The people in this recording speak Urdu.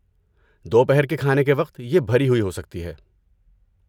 دوپہر کے کھانے کے وقت یہ بھری ہوئی ہو سکتی ہے۔